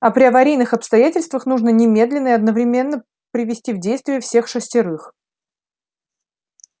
а при аварийных обстоятельствах нужно немедленно и одновременно привести в действие всех шестерых